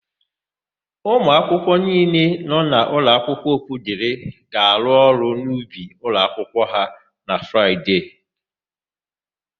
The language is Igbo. Ụmụakwụkwọ niile nọ n'ụlọakwụkwọ Okwudịrị ga-arụ ọrụ n'ubi ụlọakwụkwọ ha na Fraịde.